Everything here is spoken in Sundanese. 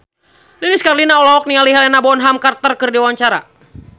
Lilis Karlina olohok ningali Helena Bonham Carter keur diwawancara